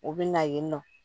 U bɛ na yen nɔ